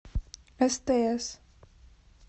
стс